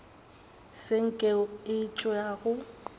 se nko ye e tšwago